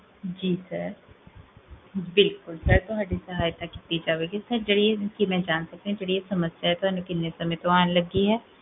ਜੀ sir, ਬਿਲਕੁਲ sir ਤੁਹਾਡੀ ਸਹਾਇਤਾ ਕੀਤੀ ਜਾਵੇਗੀ ਸਰ, ਕੀ ਮੈਂ ਜਾਨ ਸਕਦੀ ਹਾਂ ਜੇਹੜੀ ਇਹ ਸਮਸਿਆ ਆ ਤੁਹਾਨੂ ਕਿੰਨੇ ਸਮੇ ਤੋ ਆਂ ਲਗੀ ਹੈ